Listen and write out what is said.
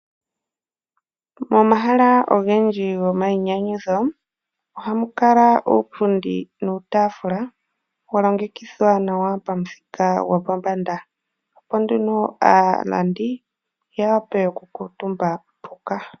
Momahala ogendji go mayi nyanyudho ohamu kala uupundi nuutaafula wa longekidhwa nawa pamuthika gopombanda, opo aalandi ya wape okukuutumba mpoka.